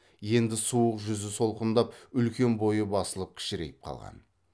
енді суық жүзі солғындап үлкен бойы басылып кішірейіп қалған